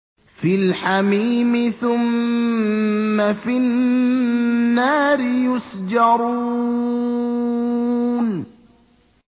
فِي الْحَمِيمِ ثُمَّ فِي النَّارِ يُسْجَرُونَ